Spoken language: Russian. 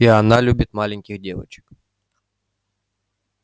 и она любит маленьких девочек